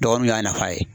Dɔgɔ min y'a nafa ye